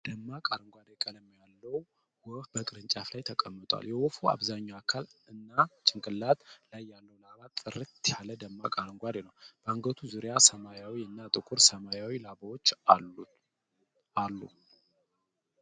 ደማቅ አረንጓዴ ቀለም ያለው ወፍ በቅርንጫፍ ላይ ተቀምጧል። የወፉ አብዛኛው አካል እና ጭንቅላት ላይ ያለው ላባ ጥርት ያለ ደማቅ አረንጓዴ ነው። በአንገቱ ዙሪያ ሰማያዊ እና ጥቁር ሰማያዊ ላባዎች አሉ።